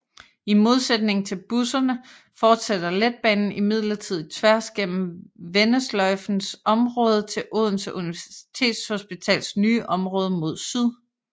I modsætning til busserne fortsætter letbanen imidlertid tværs gennem vendesløjfens område til Odense Universitetshospitals nye område mod syd